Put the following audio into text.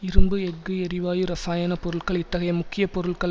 இரும்பு எஃகு எரிவாயு இரசாயன பொருட்கள் இத்தகைய முக்கிய பொருட்கள்